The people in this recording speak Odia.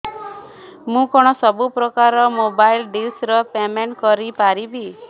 ମୁ କଣ ସବୁ ପ୍ରକାର ର ମୋବାଇଲ୍ ଡିସ୍ ର ପେମେଣ୍ଟ କରି ପାରିବି